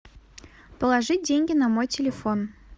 положи деньги на мой телефон